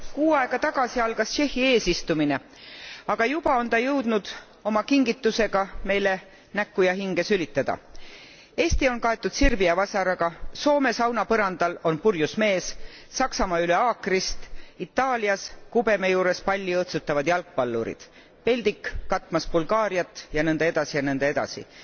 Kuu aega tagasi algas Tšehhi eesistumine, aga juba on see jõudnud oma kingitusega meile näkku ja hinge sülitada Eesti on kaetud sirbi ja vasaraga, Soome sauna põrandal on purjus mees, Saksamaa üle haakrist, Itaalias kubeme juures palli õõtsutavad jalgpallurid, peldik katmas Bulgaariat ja nõnda edasi ja nõnda edasi.